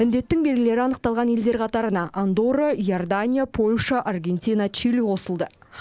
індеттің белгілері анықталған елдер қатарына андорра иордания польша аргентина чили қосылды